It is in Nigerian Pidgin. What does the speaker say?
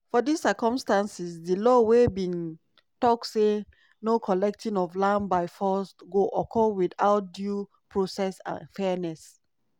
for dis circumstances di law wey bin tok say no collecting of land by force go occur witout due process and fairness.